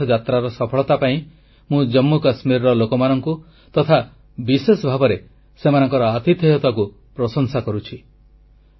ଅମରନାଥ ଯାତ୍ରାର ସଫଳତା ପାଇଁ ମୁଁ ଜାମ୍ମୁ କାଶ୍ମୀରର ଲୋକମାନଙ୍କୁ ତଥା ବିଶେଷ ଭାବରେ ସେମାନଙ୍କର ଆତିଥେୟତାକୁ ପ୍ରଶଂସା କରୁଛି